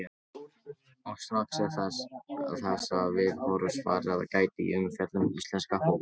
Og strax er þessa viðhorfs farið að gæta í umfjöllun um íslenska fótboltann.